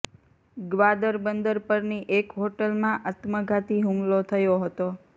ગ્વાદર બંદર પરની એક હોટલમાં આત્મઘાતી હુમલો થયો હતો